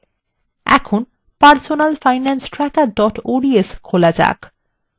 এখন personalfinancetracker ods খোলা যাক